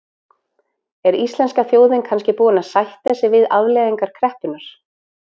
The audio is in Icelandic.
Er íslenska þjóðin kannski búin að sætta sig við afleiðingar kreppunnar?